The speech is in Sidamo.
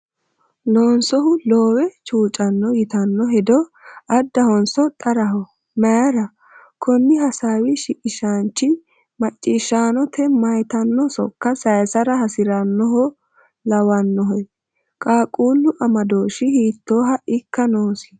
“Loonsohu loowe chuucanno,” yitanno hedo addahonso xaraho? Mayira? Konni hasaawi shiqishaanchi, macciishshaanote maytanno sokka saysara hasi’rinoha lawannohe? Qaaqquullu amadooshshi hiittooha ikka noosi?